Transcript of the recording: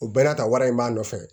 O bɛɛ n'a ta wari in b'a nɔfɛ